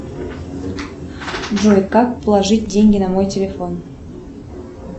джой как положить деньги на мой телефон